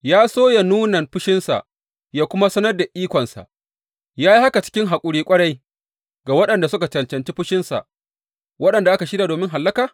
Ya so yă nuna fushinsa yă kuma sanar da ikonsa, ya yi haka cikin haƙuri ƙwarai ga waɗanda suka cancanci fushinsa, waɗanda aka shirya domin hallaka?